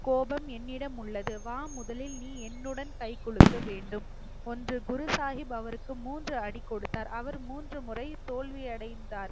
கோபம் என்னிடம் உள்ளது வா முதலில் நீ என்னுடன் கைகுலுக்க வேண்டும் ஒன்று குரு சாஹிப் அவருக்கு மூன்று அடி கொடுத்தார் அவர் மூன்று முறை தோல்வி அடைந்தார்